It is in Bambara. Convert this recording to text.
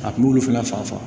A kun b'olu fana fa